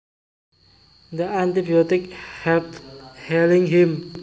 The antibiotic helped healing him